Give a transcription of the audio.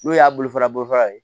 N'o y'a bolo fara bolofara ye